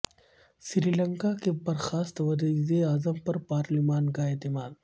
سری لنکا کے برخاست وزیراعظم پر پارلیمان کا اعتماد